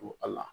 Don a la